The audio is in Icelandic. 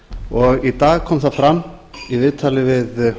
og í dag kom það fram í viðtali við